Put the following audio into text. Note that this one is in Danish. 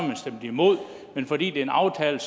man stemt imod men fordi det er en aftale